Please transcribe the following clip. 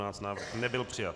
Návrh nebyl přijat.